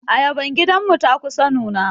Ayaban gidan mu ta kusa nuna.